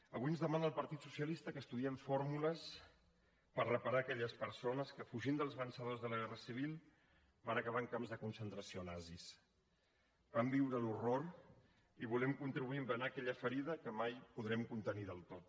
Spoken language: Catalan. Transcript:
avui ens demana el partit socialista que estudiem fórmules per reparar aquelles persones que fugint dels vencedors de la guerra civil van acabar en camps de concentració nazis van viure l’horror i volem contribuir a embenar aquella ferida que mai podrem contenir del tot